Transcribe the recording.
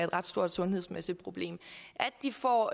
ret stort sundhedsmæssigt problem at de får